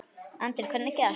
Andri: Hvernig gekk?